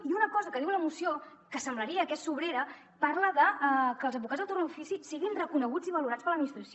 i una cosa que diu la moció que semblaria que és sobrera parla de que els advocats del torn d’ofici siguin reconeguts i valorats per l’administració